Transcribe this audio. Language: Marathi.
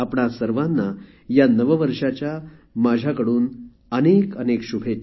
आपणा सर्वांना या नववर्षाच्या माझ्याकडून अनेक अनेक शुभेच्छा